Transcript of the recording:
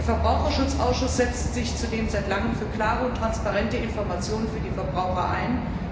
Der Verbraucherschutzausschuss setzt sich zudem seit langem für klare und transparente Informationen für die Verbraucher ein.